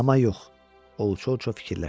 Amma yox, o uça-uça fikirləşdi.